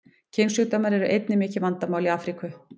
Kynsjúkdómar eru einnig mikið vandamál í Afríku.